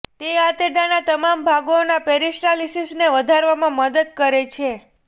તે આંતરડાના તમામ ભાગોના પેરીસ્ટાલિસિસને વધારવામાં મદદ કરે છે